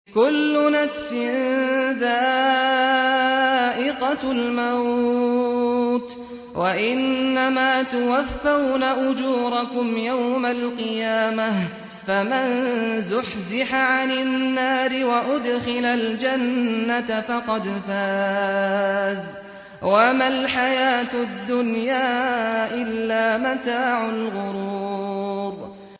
كُلُّ نَفْسٍ ذَائِقَةُ الْمَوْتِ ۗ وَإِنَّمَا تُوَفَّوْنَ أُجُورَكُمْ يَوْمَ الْقِيَامَةِ ۖ فَمَن زُحْزِحَ عَنِ النَّارِ وَأُدْخِلَ الْجَنَّةَ فَقَدْ فَازَ ۗ وَمَا الْحَيَاةُ الدُّنْيَا إِلَّا مَتَاعُ الْغُرُورِ